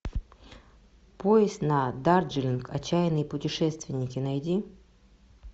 поезд на дарджилинг отчаянные путешественники найди